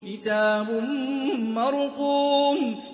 كِتَابٌ مَّرْقُومٌ